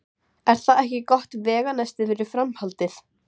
Er það ekki gott veganesti fyrir framhaldið?